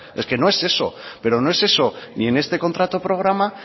es que no es eso pero no es eso ni en este contrato programa